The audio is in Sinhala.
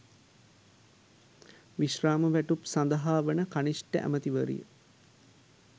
විශ්‍රාම වැටුප් සදහා වන කනිෂ්ඨ ඇමතිවරිය